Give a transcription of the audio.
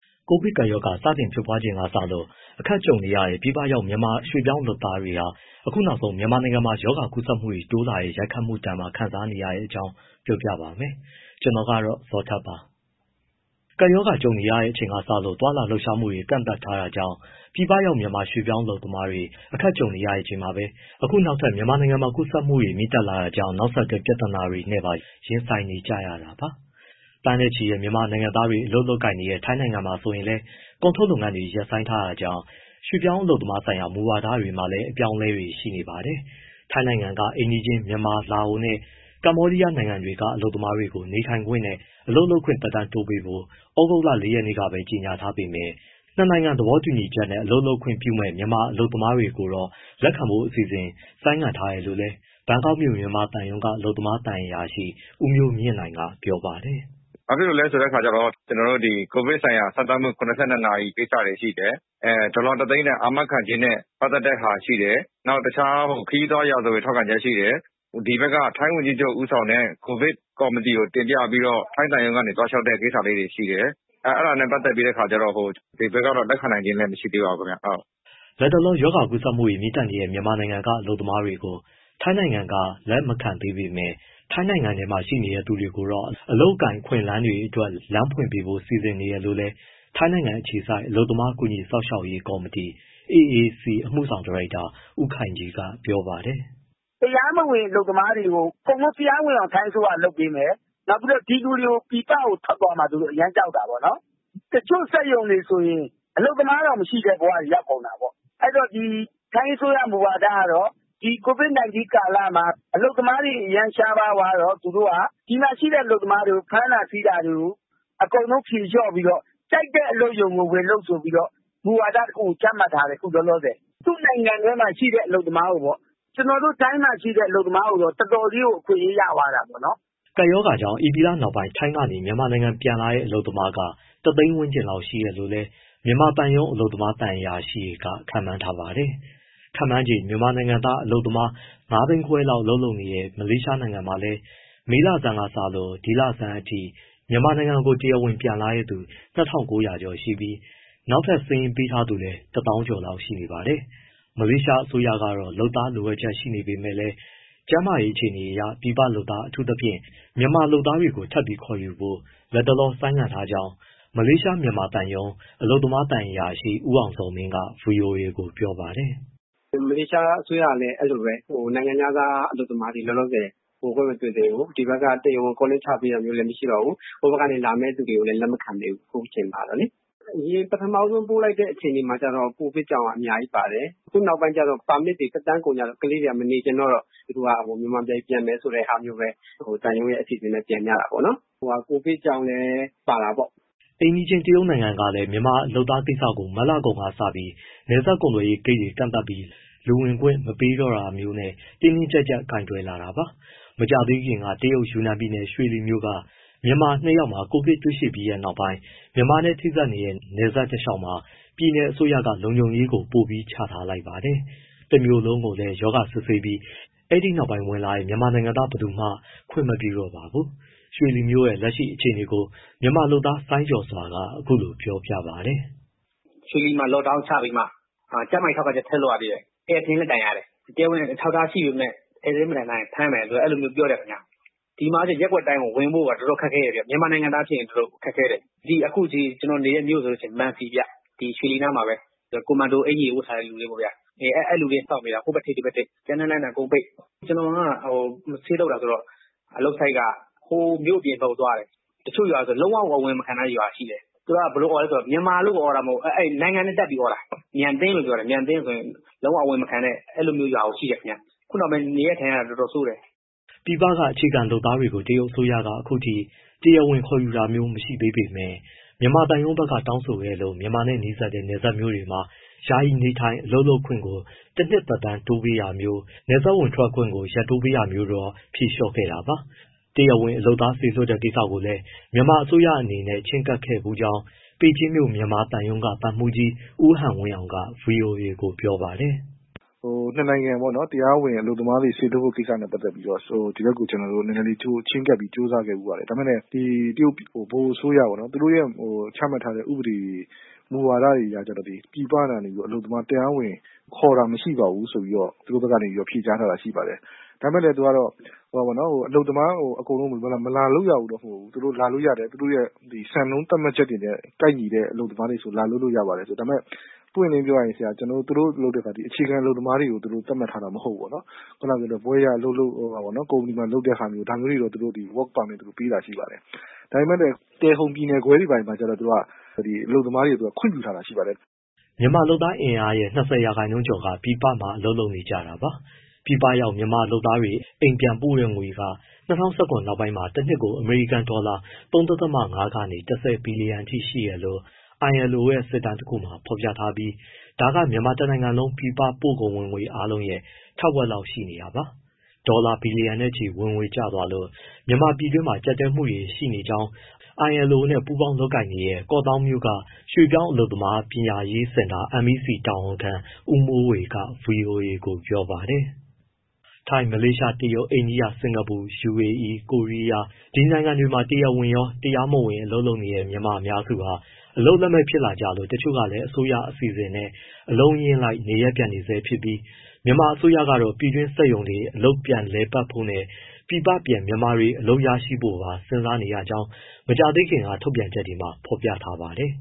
ကိုဗစ်ကပ်ရောဂါ စတင်ဖြစ်ပွားချိန်က စလို့ အခက်ကြုံနေရတဲ့ ပြည်ပရောက် မြန်မာရွှေ့ပြောင်းအလုပ်သမားတွေဟာ အခုနောက်ဆုံး မြန်မာနိုင်ငံမှာ ရောဂါကူးစက်မှုတွေ တိုးလာနေတဲ့ ရိုက်ခတ်မှုဒဏ်ပါ ခံနေကြရတဲ့အကြောင်း ပြောပြပါမယ်။ ဗွီအိုအေမြန်မာပိုင်းသတင်းထောက် ကိုဇော်ထက်က ပြောပြထားပါတယ်။ ကပ်ရောဂါကြုံရချိန်က စလို့ သွားလာလှုပ်ရှားမှုတွေ ကန့်သတ်ထားတာကြောင့် ပြည်ပရောက် မြန်မာရွှေ့ပြောင်းအလုပ်သမားတွေ အခက်ကြုံနေရချိန်မှာပဲ အခုနောက်ထပ် မြန်မာနိုင်ငံမှာ ကူးစက်မှုတွေ မြင့်တက်လာတာကြောင့် နောက်ဆက်တွဲ ပြဿနာတွေနဲ့ပါ ရင်ဆိုင်နေကြရတာပါ။ သန်းနဲ့ချီတဲ့ မြန်မာနိုင်ငံသားတွေ အလုပ်လုပ်ကိုင်နေတဲ့ ထိုင်းနိုင်ငံမှာ ဆိုရင်လည်း ကုန်ထုတ်လုပ်ငန်းတွေ ရပ်ဆိုင်းထားရတာကြောင့် ရွှေ့ပြောင်းအလုပ်သမားဆိုင်ရာ မူဝါဒတွေမှာလည်း အပြောင်းအလဲတွေ ရှိနေပါတယ်။ ထိုင်းနိုင်ငံက အိမ်နီးချင်း မြန်မာ၊ လာအိုနဲ့ ကမ္ဘောဒီးယား နိုင်ငံတွေက အလုပ်သမားတွေကို နေထိုင်ခွင့်နဲ့ အလုပ်လုပ်ခွင့် သက်တမ်းတိုးပေးဖို့ သြဂုတ်လ ၄ ရက်နေ့ကပဲ ကြေညာထားပေမဲ့ ၂ နိုင်ငံ သဘောတူညီချက်နဲ့ အလုပ်လုပ်ခွင့်ပြုမယ့် မြန်မာအလုပ်သမားတွေကို လက်ခံဖို့ အစီအစဉ်ကိုတော့ ဆိုင်းငံ့ထားတယ်လို့လည်း ဘန်ကောက်မြို့ မြန်မာသံရုံးက အလုပ်သမားသံအရာရှိ ဦးမျိုးမြင့်နိုင်က ပြောပါတယ်။ “ဘာဖြစ်လို့လဲဆိုတော့ ကျနော်တို့ COVID ဆိုင်ရာ စမ်းသပ်မှု ၇၂ နာရီ ကိစ္စတွေရှိတယ်၊ ဒေါ်လာ ၁၀၀,၀၀၀ တန် အာမခံခြင်းနဲ့ ပတ်သက်တဲ့ဟာ ရှိတယ်၊ နောက် ခရီးသွားရာဇဝင် ထောက်ခံချက်ရှိတယ်၊ ဒီဘက်က ထိုင်းဝန်ကြီးချုပ် ဦးဆောင်တဲ့ ကိုဗစ်ကော်မတီကို တင်ပြပြီးတော့ ထိုင်းသံရုံးကနေ သွားလျှောက်တဲ့ ကိစ္စလေးတွေ ရှိတယ်။ အဲဒါတွေနဲ့ ပတ်သက်ပြီးတော့ ဒီဘက်ကတော့ လက်ခံနိုင်ခြင်း မရှိသေးပါဘူးခင်ဗျ။” လတ်တလော ရောဂါကူးစက်မှုတွေ မြင့်တက်နေတဲ့ မြန်မာနိုင်ငံက အလုပ်သမားတွေကို ထိုင်းနိုင်ငံက လက်မခံသေးပေမဲ့ ထိုင်းနိုင်ငံထဲမှာ ရှိနေသူတွေကိုတော့ အလုပ်အကိုင်အခွင့်အလမ်းတွေအတွက် လမ်းဖွင့်ပေးဖို့ စီစဉ်နေတယ်လို့လည်း ထိုင်းနိုင်ငံအခြေစိုက် အလုပ်သမား ကူညီစောင့်ရှောက်ရေး ကော်မတီဝင် AAC အမှုဆောင်ဒါရိုက်တာ ဦးခိုင်ကြီးက ပြောပါတယ်။ “တရားမဝင် အလုပ်သမားတွေကို အကုန်လုံးတရားဝင်အောင် ထိုင်းအစိုးရက လုပ်ပေးမယ်၊ ပြီးတော့ ဒီလူတွေ ပြည်ပကို ထွက်သွားမှာ သူတို့ အရမ်းကြောက်တာ ပေါ့နော်။ တချို့စက်ရုံတွေဆိုရင် အလုပ်သမားတောင် မရှိတဲ့ဘဝ ရောက်ကုန်တာပေါ့။ အဲဒီတော့ ဒီ ထိုင်းအစိုးရ မူဝါဒကတော့ ဒီ COVID-19 ကာလမှာ အလုပ်သမားတွေ အရမ်းရှားပါးသွားတော့ ဒီမှာရှိတဲ့ အလုပ်သမားတွေကို ဖမ်းတာဆီးတာတွေကို အကုန်လုံး ဖြေလျှော့ပြီးတော့ ကြိုက်တဲ့ အလုပ်ရုံကို ဝင်လုပ်ဆိုပြီးတော့ မူဝါဒ တခုကို ချမှတ်ထားတယ် အခုလောလောဆယ်၊ သူ့နိုင်ငံထဲမှာရှိတဲ့ အလုပ်သမားကိုပေါ့။ တခြားနိုင်ငံကတော့ ပေးမဝင်ဘူး။ ကျနော်တို့ ထိုင်းမှာရှိတဲ့ အလုပ်သမားကိုတော့ တော်တော်ကြီးကို အခွင့်အရေး ရသွားတာပေါ့။” ကပ်ရောဂါကြောင့် ဧပြီလနောက်ပိုင်း ထိုင်းကနေ မြန်မာပြည်ပြန်လာတဲ့ အလုပ်သမားက ၁၀၀,၀၀၀ ဝန်းကျင်လောက်ရှိတယ်လို့လည်း မြန်မာသံရုံး အလုပ်သမား သံအရာရှိတွေက ခန့်မှန်းထားပါတယ်။ ခန့်မှန်ခြေ မြန်မာနိုင်ငံသား အလုပ်သမား ၅၅၀,၀၀၀ လောက် အလုပ်လုပ်ကိုင်နေတဲ့ မလေးရှားနိုင်ငံမှာလည်း မေလဆန်းကစလို့ ဒီလဆန်းအထိ မြန်မာနိုင်ငံကို တရားဝင်ပြန်လာတဲ့သူ ၂,၉၀၀ ကျော်ရှိပြီး နောက်ထပ် စာရင်းပေးထားသူကလည်း ၁၀,၀၀၀ ကျော်လောက်ရှိနေပါတယ်။ မလေးရှားအစိုးရကတော့ လုပ်သားလိုအပ်ချက် ရှိနေပေမဲ့လည်း ကျန်းမာရေးအခြေအနေအရ ပြည်ပလုပ်သား အထူးသဖြင့် မြန်မာလုပ်သားတွေ ထပ်ပြီး ခေါ်ယူဖို့ လတ်တလော ဆိုင်းငံ့ထားကြောင်း မလေးရှား မြန်မာသံရုံး အလုပ်သမားသံအရာရှိ ဦးအောင်ဇော်မင်းက ဗွီအိုအေကို ပြောပါတယ်။ “မလေးရှားအစိုးရကလည်း အဲဒီလိုပဲ နိုင်ငံခြားသား အလုပ်သမားတွေ လောလောဆယ် ဝင်ခွင့်မပြုသေးဘူး၊ ဒီဘက်က calling ချပေးတာလည်း မရှိတော့ဘူး၊ ဟိုဘက်ကနေ လာမယ့်သူတွေကိုလည်း လက်မခံသေးဘူး အခုအချိန်မှာလေ။ အရင် ပထမဦးဆုံး ပြန်ပို့လိုက်တဲ့ အခြေအနေမှာ ကိုဗစ်ကြောင့်က အများကြီးပါတယ်၊ အခုနောက်ပိုင်းကျတော့ ပါမစ်တွေ သက်တမ်းကုန်ကြတော့ ကလေးတွေက မနေချင်ကြတော့ သူတို့က မြန်မာပြည် ပြန်မယ်ဆိုတဲ့ဟာမျိုး သံရုံးနဲ့အစီအစဉ်နဲ့ ပြန်ကြတာပေါ့နော်။ ကိုဗစ်ကြောင့်လည်း ပါတာပေါ့။” အိမ်နီးချင်း တရုတ်နိုင်ငံကလည်း မြန်မာလုပ်သားကိစ္စကို မတ်လကုန်ကစပြီး နယ်စပ်ကုန်သွယ်ရေးဂိတ်တွေ ကန့်သတ်ပြီး လူဝင်ခွင့် မပေးတော့တာမျိုးနဲ့ တင်းတင်းကျပ်ကျပ် ကိုင်တွယ်လာတာပါ။ မကြာသေးခင်က တရုတ် ယူနန်ပြည်နယ်၊ ရွှေလီမြို့က မြန်မာနှစ်ယောက်မှာ ကိုဗစ်ရောဂါတွေ့ရှိပြီးနောက်ပိုင်း မြန်မာနဲ့ ထိစပ်နေတဲ့ နယ်စပ်တလျှောက်မှာ ပြည်နယ်အစိုးရက လုံခြုံရေးပိုပြီး ချထားလိုက်ပါတယ်။ တမြို့လုံးကိုလည်း ရောဂါစစ်ဆေးပြီး အဲဒီနောက်ပိုင်း ဝင်လာတဲ့ မြန်မာနိုင်ငံသား ဘယ်သူ့ကိုမှ ခွင့်မပြုတော့ပါဘူး။ ရွှေလီမြို့ရဲ့ လက်ရှိ အခြေအနေကို မြန်မာလုပ်သား စိုင်းကျော်စွာ ကအခုလိုပြောပါတယ်။ “ရွှေလီမှာ lockdown ချပြီးမှ ကျန်းမာရေး ထောက်ခံချက် ဆက်လုပ်ရသေးတယ်၊ ဧည့်စာရင်းလည်း တိုင်ရတယ်၊ တရားဝင်အထောက်အထား ရှိပေမဲ့ ဧည့်စာရင်း မတိုင်ထားရင်ဖမ်းမယ် အဲဒီလိုပြောတယ်ဗျ။ ဒီမှာက ရပ်ကွက်တိုင်းကိုဝင်ဖို့ မြန်မာနိုင်ငံသားဖြစ်ရင်အတော်ခက်ခဲတယ်၊ အခုကျနော်နေတဲ့ မြို့ဆိုရင် မံစီဗျ ရွှေလီနားမှာပဲ ကွန်မန်ဒိုအကျီဝတ်ထားတဲ့သူတွေ အဲလူတွေစောင့်နေတာ ဟိုဘက်ထိပ် ဒီဘက်ထိပ်၊ လမ်းတွေလည်းပိတ်။ ကျနော်က ဆေးသုတ်တာဆိုတော့ အလုပ် site က မြို့ပြင်ဘက်သွားရတယ်၊ တချို့ရွာတွေဆို လုံးဝအဝင်မခံတဲ့ ရွာတွေရှိတယ်။ သူတို့က မြန်မာလို့ အော်တာ မဟုတ်ဘူး နိုင်ငံနဲ့တပ်ပြီးအော်တာ “မြန်သင်း” လို့ ပြောတာ မြန်သင်းဆို လုံးဝအဝင်မခံနဲ့ ဆိုတဲ့ ရွာတွေရှိတယ်။ အခုနောက်ပိုင်း နေရထိုင်ရတာ အတော်ဆိုးတယ်။” ပြည်ပက အခြေခံလုပ်သားတွေကို တရုတ်အစိုးရက အခုထိတရားဝင်ခေါ်ယူတာ မရှိသေးပေမဲ့ မြန်မာသံရုံးဘက်က တောင်းဆိုခဲ့လို့ မြန်မာနဲ့နီးတဲ့ နယ်စပ်မြို့ တွေမှာတော့ ယာယီနေထိုင်၊ အလုပ်လုပ်ခွင့်ကိုတနှစ်သက်တမ်းတိုးပေးတာမျိုး၊ နယ်စပ်ဝင်ထွက်ခွင့်ကို ရက်တိုးပေးထားတာမျိုးတော့ ဖြေလျှော့ခဲ့တာပါ။ တရားဝင်လုပ်သား စေလွှတ်ဖို့ကိစ္စလည်း မြန်မာအစိုးရအနေနဲ့ ချဉ်းကပ်ခဲ့ဖူးကြောင်း ပေကျင်းမြို့ မြန်မာသံရုံးက သံမှူးကြီး ဦးဟန်ဝင်းအောင်က ဗွီအိုအေကို ပြောပါတယ်။ “နှစ်နိုင်ငံ တရားဝင်အလုပ်သမားတွေ စေလွှတ်ဖို့ကိစ္စနဲ့ ပတ်သက်ပြီးတော့ ဒီဘက်ကို ကျနော်တို့ နည်းနည်းချဉ်းကပ်ပြီး ကြိုးစားခဲ့ဖူးပါတယ်။ ဒါပေမဲ့လည်း တရုတ်ဗဟိုအစိုးရပေါ့နော် သူတို့ရဲ့ ချမှတ်ထားတဲ့ ဥပဒေတွေ မူဝါဒတွေကျတော့ ပြည်ပကနေ အလုပ်သမား တရားဝင်ခေါ်တာ မရှိပါဘူး ဆိုပြီးတော့ သူတို့ဘက်ကနေ ဖြေကြားလာတာ ရှိပါတယ်။ ဒါပေမဲ့ သူကအလုပ်သမား အကုန်လုံးကို မလာလုပ်ရဘူးလို့ မဟုတ်ဘူး၊ လာလို့ရတယ်၊ သူတို့စံနှုန်း သတ်မှတ်ချက်တွေနဲ့ ကိုက်ညီတဲ့ အလုပ်သမားတွေဆိုရင် လာလို့ရပါတယ်။ ဒါပေမဲ့ ပွင့်ပွင့်လင်းလင်းပြောရရင် သူတို့ အခြေခံလုပ်သားတွေကို သတ်မှတ်ထားတာ မဟုတ်ဘူးပေါ့နော်၊ ဘွဲ့ရ ကုမ္ပဏီမှာလုပ်တဲ့ဟာမျိုး ဒါမျိုးတွေ သူတို့ work permit ပေးတာရှိပါတယ်။ ဒါပေမဲ့ တယ်ဟုန်ပြည်နယ်ခွဲတွေ၊ ဘာတွေမှာကျတော့ သူက ဒီ အလုပ်သမားတွေအတွက် ခွင့်ပြုထားတာ ရှိပါတယ်။” မြန်မာ့လုပ်သားအင်အားရဲ့ ၂၀ ရာခိုင်နှုန်းကျော်က ပြည်ပမှာ လုပ်နေကြတာပါ။ ပြည်ပရောက်မြန်မာလုပ်သားတွေ အိမ်ပြန်ပို့ငွေက ၂၀၁၇ နောက်ပိုင်း တနှစ်ကို အမေရိကန် ဒေါ်လာ ၃.၅ ကနေ ၁၀ ဘီလီယံအထိ ရှိတယ်လို့ ILO ရဲ့ စစ်တမ်းတခုမှာ ဖော်ပြထားပြီး ဒါက မြန်မာတနိုင်ငံလုံး ပြည်ပပို့ကုန်ဝင်ငွေ အားလုံးရဲ့ ထက်ဝက်လောက် ရှိနေတာပါ။ ဒေါ်လာဘီလျံနဲ့ချီ ဝင်ငွေကျသွားလို့ မြန်မာ ပြည်တွင်းမှာ ကျပ်တည်းမှုတွေ ရှိနေကြောင်း ILO နဲ့ ပူးပေါင်းလုပ်ကိုင်နေတဲ့ ကော့သောင်းမြို့ ရွှေ့ပြောင်းအလုပ်သမား ပညာရေးစင်တာ MEC တာဝန်ခံ ဦးမိုးဝေက ဗွီအိုအေကို ပြောပါတယ်။ ထိုင်း၊ မလေးရှား၊ တရုတ်၊ အိန္ဒိယ၊ စင်္ကာပူ၊ ယူအေအီး၊ ကိုရီးယား ဒီနိုင်ငံတွေမှာ တရားဝင်ရော၊ တရားမဝင် အလုပ်လုပ်နေတဲ့ မြန်မာအများစုဟာ အလုပ်လက်မဲ့ဖြစ်လာလို့ တချို့ကလည်း အစိုးရအစီအစဉ်နဲ့ အလုံးအရင်းလိုက် နေရပ်ပြန်နေဆဲဖြစ်ပြီး မြန်မာအစိုးရတော့ ပြည်တွင်းစက်ရုံတွေ အလုပ်ပြန်လည်ပတ်ဖို့နဲ့ ပြည်ပပြန် မြန်မာလုပ်သားတွေ အလုပ်ရဖို့ပါ စဉ်းစားနေကြောင်း မကြာသေးခင်က ထုတ်ပြန်ချက်တွေမှာ ဖော်ပြထားပါတယ်